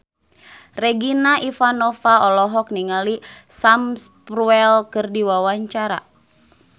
Regina Ivanova olohok ningali Sam Spruell keur diwawancara